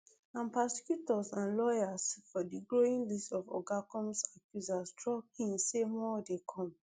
and prosecutors and lawyers for di growing list of oga combs accusers drop hint say more dey come